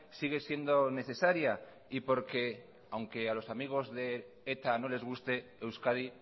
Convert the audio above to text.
sigue siendo necesaria y porque aunque los amigos de eta no les guste euskadi